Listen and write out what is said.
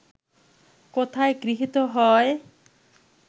কোথায় গৃহীত হয়